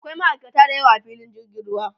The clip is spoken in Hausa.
akwai ma'aikata da yawa a filin jirgin ruwa